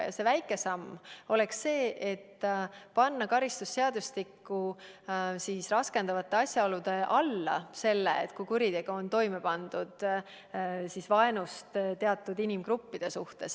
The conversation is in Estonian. Ja see väike samm oleks see, et panna karistusseadustikku raskendavate asjaolude loetellu juhtum, kui kuritegu on toime pandud vaenust teatud inimgruppide vastu.